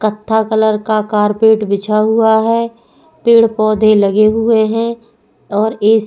कत्था कलर का कारपेट बिछा हुआ है पेड़ पौधे लगे हुए है और ऐसी --